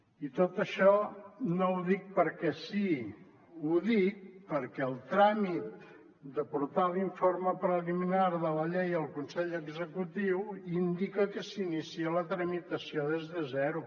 i tot això no ho dic perquè sí ho dic perquè el tràmit de portar l’informe preliminar de la llei al consell executiu indica que s’inicia la tramitació des de zero